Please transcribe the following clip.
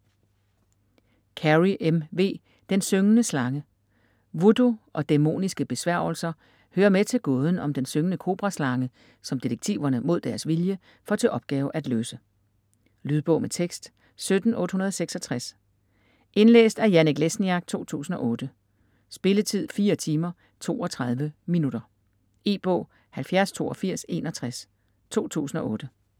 Carey, M. V.: Den syngende slange Voodoo og dæmoniske besværgelser hører med til gåden om den syngende kobraslange, som detektiverne - mod deres vilje - får til opgave at løse. Lydbog med tekst 17866 Indlæst af Janek Lesniak, 2008. Spilletid: 4 timer, 32 minutter. E-bog 708261 2008.